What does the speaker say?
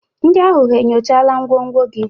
Ndị ahụ enyochala ngwongwo gị?